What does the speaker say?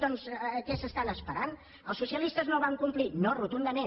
doncs què estan esperant els socialistes no van complir no rotundament